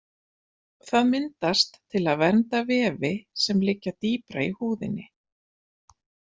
Það myndast til að vernda vefi sem liggja dýpra í húðinni.